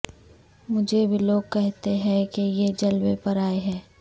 مجھے بھی لوگ کہتے ہیں کہ یہ جلوے پرائے ہیں